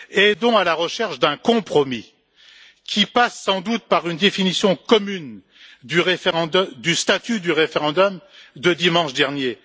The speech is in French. Aidons à la recherche d'un compromis, qui passera sans doute par une définition commune du statut du référendum de dimanche dernier.